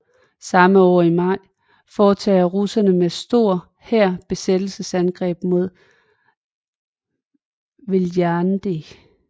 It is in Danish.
Samme år i maj foretager russerne med en stor hær besættelsesangreb mod Viljandi